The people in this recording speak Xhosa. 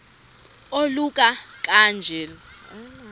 oluka ka njl